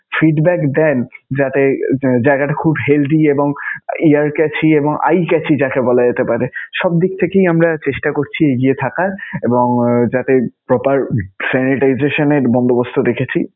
feedback দেন. যাতে জায়গাটা খুব healthy এবং ear chachy এবং eye chachy যাকে বলা যেতে পারে, সব দিক থেকেই আমরা চেষ্টা করছি এগিয়ে থাকার এবং যাতে proper sanitization এর বন্দোবস্ত রেখেছি